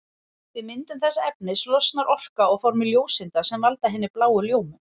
Við myndun þessa efnis losnar orka á formi ljóseinda sem valda hinni bláu ljómun.